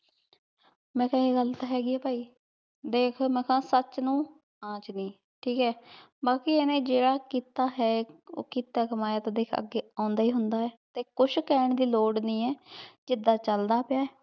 ਮੈਂ ਕੇਹਾ ਆਯ ਗਲ ਤਾਂ ਹੇਗੀ ਆਯ ਭੀ ਦੇਖ ਮੈਂ ਤਾਂ ਸਚ ਨੂ ਆਂਚ੍ਨੀ ਠੀਕ ਆਯ ਬਾਕ਼ੀ ਏਨੇ ਬਾਕ਼ੀ ਏਨੇ ਜੀਰਾ ਕੀਤਾ ਆਯ ਊ ਕੀਤਾ ਕਾਮਯਾ ਅਗੇ ਸਾਬ੍ਦੇ ਆਉਂਦਾ ਈ ਹੁੰਦਾ ਆਯ ਤੇ ਕੁਛ ਕੇਹਨ ਦੀ ਲੋਰ ਨਹੀ ਆਯ ਜਿਦਾਂ ਚਲਦਾ ਪਾਯਾ ਆਯ